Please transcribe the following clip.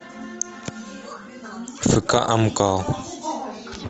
фк амкал